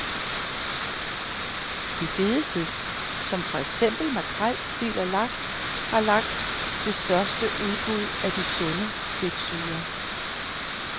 De fede fisk, som for eksempel makrel, sild og laks, har langt det største udbud af de sunde fedtsyrer.